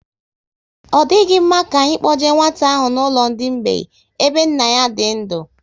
Ọ dịghị mma ka anyị kpoje nwata ahụ n'ụlọ ndị mgbei ebe nna ya dị ndu